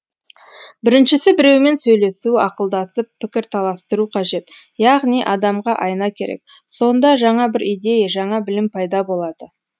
біріншісі біреумен сөйлесу ақылдасып пікірталастыру қажет яғни адамға айна керек сонда жаңа бір идея жаңа білім пайда болады